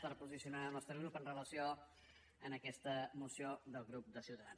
per posicionar el nostre grup en relació amb aquesta moció del grup de ciutadans